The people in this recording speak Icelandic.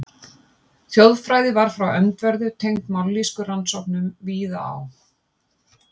Þjóðfræði var frá öndverðu tengd mállýskurannsóknum víða á